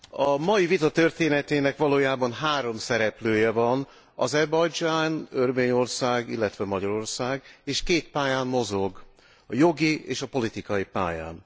A mai vita történetének valójában három szereplője van Azerbajdzsán, Örményország, illetve Magyarország, és két pályán mozog jogi és politikai pályán.